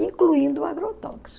incluindo o agrotóxico.